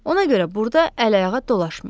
Ona görə burda əl-ayağa dolaşmayın.